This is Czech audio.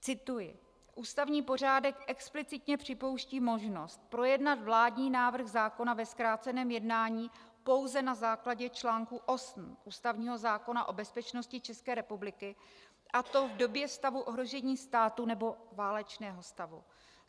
Cituji: "Ústavní pořádek explicitně připouští možnost projednat vládní návrh zákona ve zkráceném jednání pouze na základě článku 8 ústavního zákona o bezpečnosti České republiky, a to v době stavu ohrožení státu nebo válečného stavu.